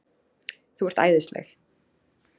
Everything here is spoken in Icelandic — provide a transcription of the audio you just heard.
Þú ert æðisleg!